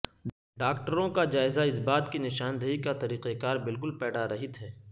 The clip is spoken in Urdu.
ڈاکٹروں کا جائزہ اس بات کی نشاندہی کا طریقہ کار بالکل پیڑارہت ہے